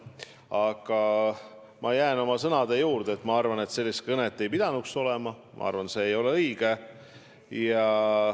Aga ma jään oma sõnade juurde: ma arvan, et sellist kõnet ei oleks tohtinud olla, ma arvan, et see ei olnud õige.